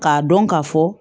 K'a dɔn ka fɔ